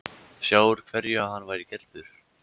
Sjá úr hverju hann væri gerður.